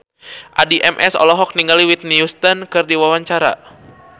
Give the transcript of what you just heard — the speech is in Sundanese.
Addie MS olohok ningali Whitney Houston keur diwawancara